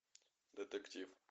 детектив